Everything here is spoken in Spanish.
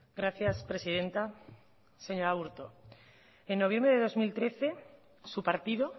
gracias presidenta señor aburto en noviembre de dos mil trece su partido